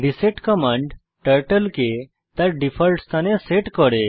reset command turtle কে তার default স্থানে সেট করে